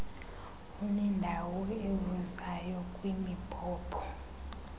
unendawo evuzayo kwimibhobho